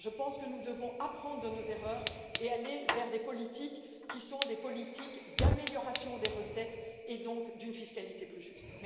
Je pense que nous devons apprendre de nos erreurs et aller vers des politiques qui sont des politiques d'amélioration des recettes et donc d'une fiscalité plus juste.